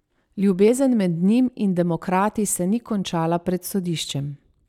Ljubezen med njim in demokrati se ni končala pred sodiščem.